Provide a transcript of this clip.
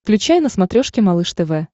включай на смотрешке малыш тв